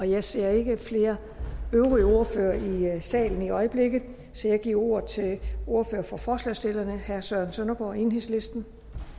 jeg ser ikke flere ordførere i salen i øjeblikket så jeg giver ordet til ordføreren for forslagsstillerne herre søren søndergaard enhedslisten